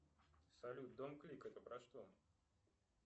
салют дом клик это про что